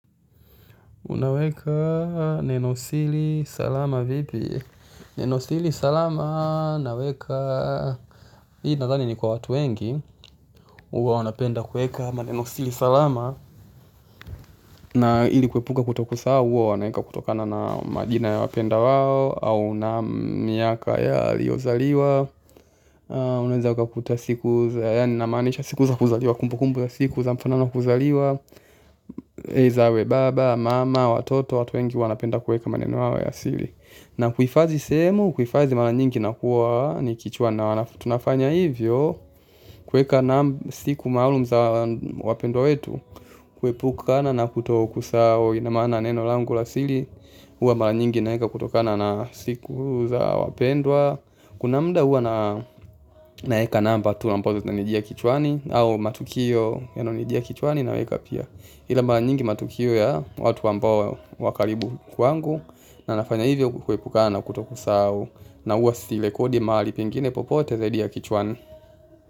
Unaweka neno siri salama vipi? Neno siri salama naweka. Hii nadhani ni kwa watu wengi huwa wanapenda kuweka maneno siri salama na ili kuepuka kutokusahau huwa wanaweka kutokana na majina ya wapendwa wao au na miaka aliozaliwa. Unaweza ukakuta siku za yaani namaanisha siku za kuzaliwa kumbukumbu za siku za mfano za kuzaliwa za baba, mama, watoto, watu wengi wanapenda kuweka maneno yao ya siri na kuhifadhi sehemu, kuhifadhi mara nyingi inakuwa ni kichwa na tunafanya hivyo. Kuweka naam siku maalum za wapendwa wetu kuepukana na kutokusahau ina maana neno langu la siri. Huwa mara nyingi naweka kutokana na siku za wapendwa. Kuna muda huwa naweka namba tu ambazo zinanijia kichwani au matukio yanayonijia kichwani naweka pia. Ila mara nyingi matukio ya watu ambao wa karibu kwangu na nafanya hivyo kuepukana na kutokusahau na huwa sirekodi mahali pengine popote zaidi ya kichwani.